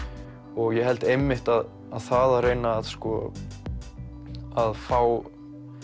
og ég held einmitt að það að reyna að fá